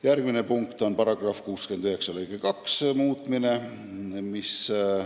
Järgmine punkt on § 69 lõike 2 muutmine.